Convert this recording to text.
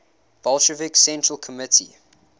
bolshevik central committee